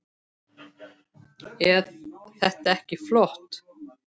Eð þetta ekki flott?